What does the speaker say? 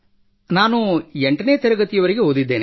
ನಾನು 8 ನೇ ತರಗತಿವರೆಗೆ ಓದಿದ್ದೇನೆ